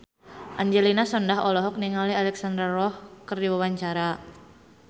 Angelina Sondakh olohok ningali Alexandra Roach keur diwawancara